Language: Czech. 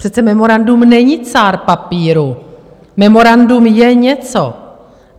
Přece memorandum není cár papíru, memorandum je něco.